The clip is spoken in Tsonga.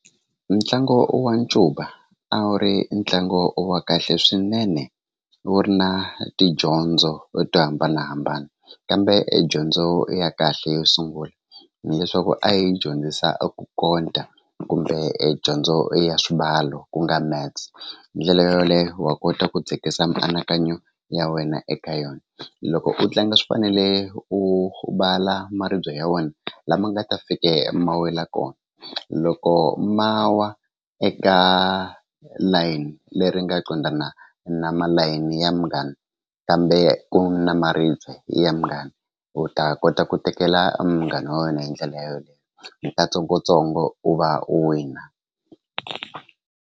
Ntlangu wa ncuva a wu ri ntlangu wa kahle swinene wu ri na tidyondzo to hambanahambana kambe edyondzo ya kahle yo sungula hileswaku a yi dyondzisa a ku konta kumbe edyondzo ya swimbalo ku nga maths hi ndlela yoleyo wa kota ku dzikisa mianakanyo ya wena eka yona loko u tlanga swi fanele u maribye ya wena lama nga ta fike ma wela kona loko ma wa eka layini leri nga qondana na malayini ya munghana kambe ku na maribye ya munghana u ta kota ku tekela munghana wa wena hi ndlela hi katsongotsongo u va u wina.